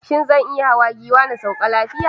Shin zan iya hawa giwa na sauka lafiya?